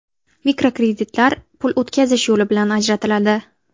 Mikrokreditlar pul o‘tkazish yo‘li bilan ajratiladi.